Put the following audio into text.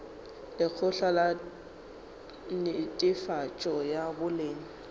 lekgotla la netefatšo ya boleng